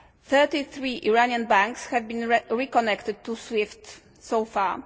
Thirty three Iranian banks have been reconnected to SWIFT so far.